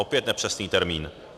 Opět nepřesný termín.